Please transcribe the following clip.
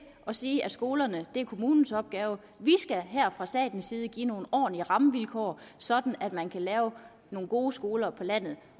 sige at skolerne er kommunens opgave vi skal her fra statens side give nogle ordentlige rammevilkår sådan at man kan lave nogle gode skoler på landet